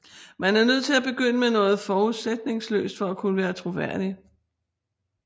Man er nødt til at begynde med noget forudsætningsløst for at kunne være troværdig